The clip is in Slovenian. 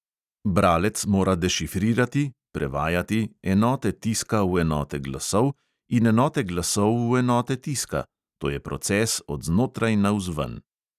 Bralec mora dešifrirati enote tiska v enote glasov in enote glasov v enote tiska, to je proces od znotraj navzven.